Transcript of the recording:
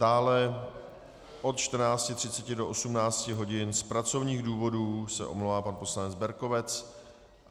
Dále od 14.30 do 18 hodin z pracovních důvodů se omlouvá pan poslanec Berkovec.